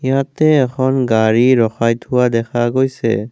ইয়াতে এখন গাড়ী ৰখাই থোৱা দেখা গৈছে।